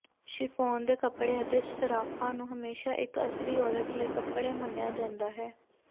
chiffon ਦੇ ਕੱਪੜੇ ਅਤੇ ਸਰਾਫ਼ਾਂ ਨੂੰ ਹਮੇਸ਼ਾ ਇੱਕ ਅਸਲੀ ਔਰਤ ਲਈ ਕੱਪੜੇ ਮੰਨਿਆ ਜਾਂਦਾ ਹੈ